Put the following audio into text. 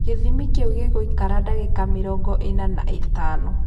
Gĩthimi kĩu gĩgũikara dagĩka mĩrongo ina na itano.